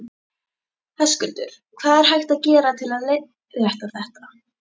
Höskuldur: Hvað er hægt að gera til að leiðrétta þetta?